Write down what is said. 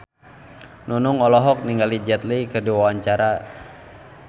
Nunung olohok ningali Jet Li keur diwawancara